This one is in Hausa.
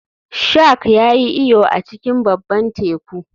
Shark ya yi iyo a cikin babban teku